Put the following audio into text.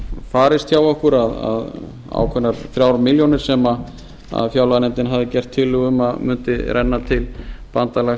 misfarist hjá okkur ákveðnar þrjár milljónir sem fjárlaganefndin hafði gert tillögu um að mundi renna til bandalags